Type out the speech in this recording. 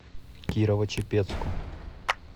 кирово чепецку